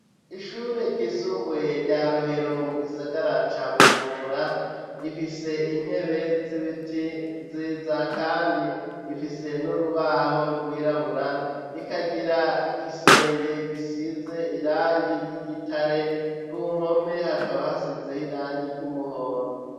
Ishure ryisumbuye rya Rohero, mu gisagara ca Bujumbura, rifise intebe z'ibiti nziza kandi rifise n'urubaho rwirabura, rikagira igisenge gisize irangi ry'igitare, ku mpome hakaba hasizeho irangi ry'umuhondo.